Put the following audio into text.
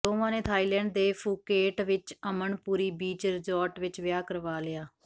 ਦੋਵਾਂ ਨੇ ਥਾਈਲੈਂਡ ਦੇ ਫੂਕੇਟ ਵਿਚ ਅਮਨਪੁਰੀ ਬੀਚ ਰਿਜੋਰਟ ਵਿਚ ਵਿਆਹ ਕਰਵਾ ਲਿਆ